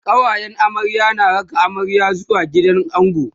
kawayen amarya na raka amarya zuwa gidan ango